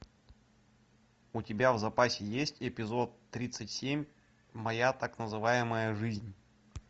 у тебя в запасе есть эпизод тридцать семь моя так называемая жизнь